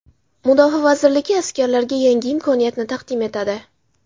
Mudofaa vazirligi askarlarga yangi imkoniyatni taqdim etadi.